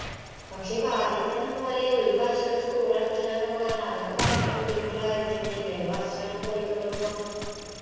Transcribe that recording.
പക്ഷെ ആദ്യത്തൊന്നും പോലെ ഒരു വർഷോക്കെ school അടച്ചിടാന്നൊക്കെ പറഞ്ഞാ അതൊക്കെ ഭയങ്കര ബുദ്ധിമുട്ടുള്ള കാര്യാണ് വർഷം അങ്ങന പോയിക്കിട്ടുമ്പോ